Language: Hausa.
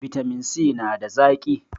bitamin si nada zaki